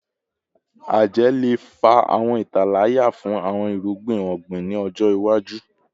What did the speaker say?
Ajẹ le fa awọn italaya fun awọn irugbin ogbin ni ọjọ iwaju